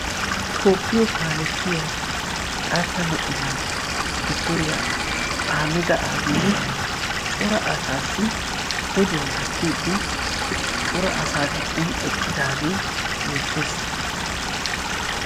Tophphiyo kaalettiya xaatta moconaa dotoriya ahmeda abiy cora asaassi oduwa gattiiddi cora asaa giddon eqqidaagee beettes.